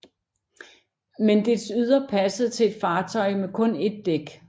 Men dets ydre passede til et fartøj med kun ét dæk